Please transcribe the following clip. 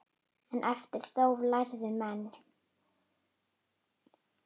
En eftir þóf lærðu menn.